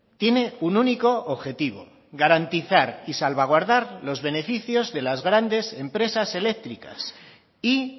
tiene un único objetivo garantizar y salvaguardar los beneficios de las grandes empresas eléctricas y